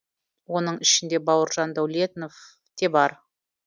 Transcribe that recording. оның ішінде бауыржан дәуленов те бар